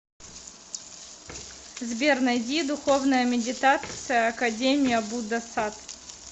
сбер найди духовная медитация академия будда сад